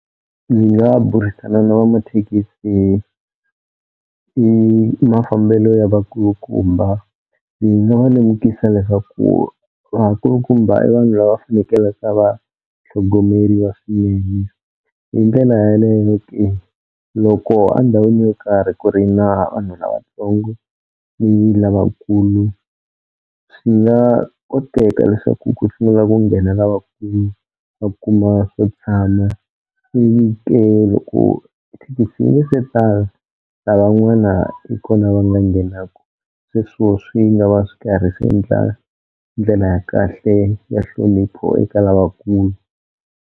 Ndzi nga burisana na va mathekisi hi i mafambelo ya vakulukumbha, ndzi nga va lemukisa leswaku vakulukumbha i vanhu lava va fanekelaka va tlhogomeriwa swinene, hi ndlela yaleyo loko a ndhawini yo karhi ku ri na vanhu lavatsongo ni lavakulu swi nga koteka leswaku ku sungula ku nghena lavakulu va kuma swo tshama, ivi ke loko thekisi yi nge se tala lavan'wana hi kona va nga nghenaku, sweswo swi nga va swi karhi swi endla ndlela ya kahle ya hlonipho eka lavakulu.